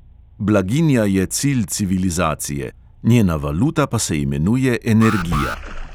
Blaginja je cilj civilizacije, njena valuta pa se imenuje energija.